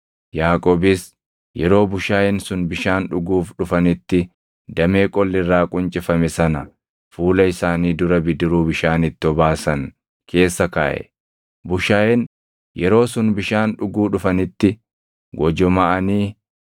Yaaqoobis yeroo bushaayeen sun bishaan dhuguuf dhufanitti damee qolli irraa quncifame sana fuula isaanii dura bidiruu bishaan itti obaasan keessa kaaʼe. Bushaayeen yeroo sun bishaan dhuguu dhufanitti gojomaʼanii